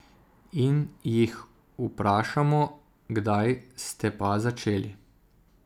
In jih vprašamo, kdaj ste pa začeli.